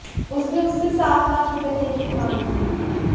उसने उससे सात लाख रुपये देने की मांग की